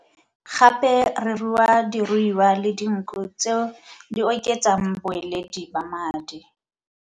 Gape re rua diruiwa le dinku tse di oketsang boeledi ba madi.